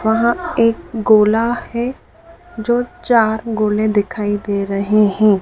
वहां एक गोला है जो चार गोले दिखाई दे रहे हैं।